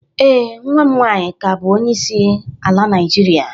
Ee, nwa m nwaanyi ka abụ onyeisi ala Naijirịa.